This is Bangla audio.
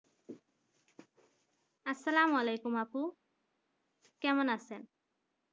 আসসালামু আলাইকুম আপু কেমন আছেন?